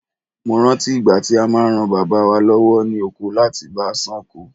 Mo rántí ìgbà tí a máa ran Bàbá bàbá wa lọ́wọ́ ní oko láti bá a ṣán ko.